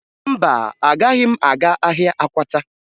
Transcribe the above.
Mba, agaghị m aga ahịa Akwata